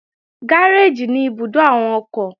Gáréèjì ní ibùdó àwọn ọkọ̀